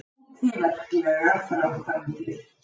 Útí verklegar framkvæmdir.